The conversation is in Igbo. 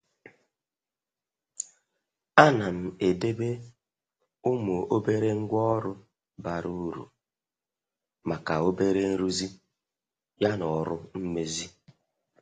A nam edebe ụmụ obere ngwa ọrụ bara uru maka obere nruzi ya na ọrụ mmezi.